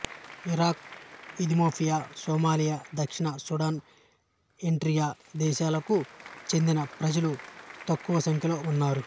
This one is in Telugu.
ఇరాక్ ఇథియోపియా సోమాలియా దక్షిణ సూడాన్ ఎరిట్రియా దేశాలకు చెందిన ప్రజలు తక్కువ సంఖ్యలో ఉన్నారు